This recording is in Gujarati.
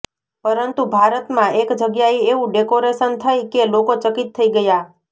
પરંતુ ભારત માં એક જગ્યાએ એવું ડેકોરેશન થઈ કે લોકો ચકિત થઈ ગયા